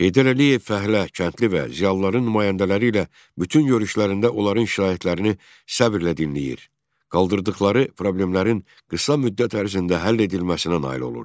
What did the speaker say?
Heydər Əliyev fəhlə, kəndli və ziyalıların nümayəndələri ilə bütün görüşlərində onların şikayətlərini səbirlə dinləyir, qaldırdıqları problemlərin qısa müddət ərzində həll edilməsinə nail olurdu.